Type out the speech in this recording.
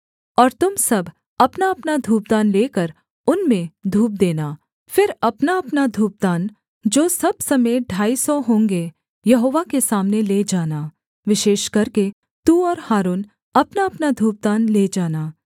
और तुम सब अपनाअपना धूपदान लेकर उनमें धूप देना फिर अपनाअपना धूपदान जो सब समेत ढाई सौ होंगे यहोवा के सामने ले जाना विशेष करके तू और हारून अपनाअपना धूपदान ले जाना